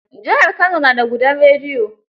Jihar Kano na da gudan rediyo.